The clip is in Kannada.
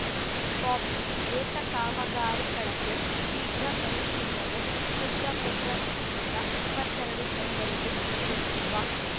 ಬಾಕ್ಸ್‌ ಏತ ಕಾಮಗಾರಿ ಕಳಪೆ ಶೀಘ್ರ ಪರಿಶೀಲನೆ ತುಂಗಭದ್ರಾ ನದಿಯಿಂದ ಇಪ್ಪತ್ತೆರಡು ಕೆರೆಗಳಿಗೆ ನೀರುಣಿಸುವ